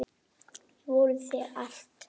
Þau voru þér allt.